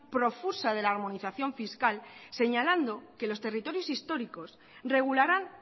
profusa de la armonización fiscal señalando que los territorios históricos regularán